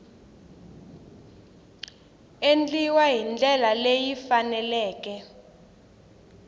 endliwa hi ndlela leyi faneleke